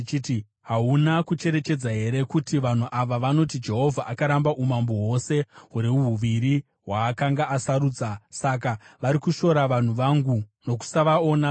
“Hauna kucherechedza here kuti vanhu ava vanoti, ‘Jehovha akaramba umambo hwose huri huviri hwaakanga asarudza’? Saka vari kushora vanhu vangu nokusavaona sorudzi.